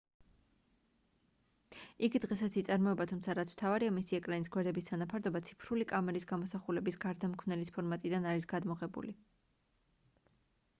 იგი დღესაც იწარმოება თუმცა რაც მთავარია მისი ეკრანის გვერდების თანაფარდობა ციფრული კამერის გამოსახულების გარდამქმნელის ფორმატიდან არის გადმოღებული